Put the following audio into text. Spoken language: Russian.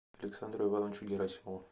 александру ивановичу герасимову